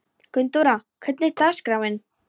Gunndóra, hvernig er dagskráin?